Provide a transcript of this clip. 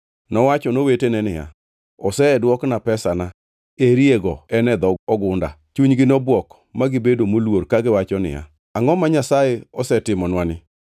Nowacho nowetene niya, “Osedwokna pesana, eri go en e dho ogunda.” Chunygi nobwok ma gibedo moluor kagiwacho niya, “Angʼo ma Nyasaye osetimonwa ni?”